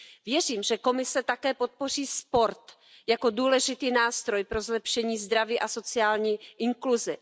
Věřím, že Komise také podpoří sport jako důležitý nástroj pro zlepšení zdraví a sociální inkluzi.